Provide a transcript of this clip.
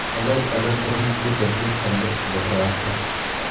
अलगअलग धर्मों के चलते संघर्ष बढ़ रहा है